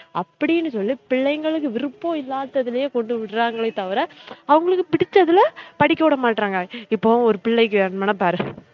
அப்டினு சொல்லி பிள்ளைங்களுக்கு விருப்பம் இல்லாததுலயே கொண்டு விடுராங்களே தவிர அவுங்களுக்கு பிடிச்சதுல படிக்க விடமற்றாங்க இப்ப ஒரு பிள்ளைக்கு வேனும்னா பாரு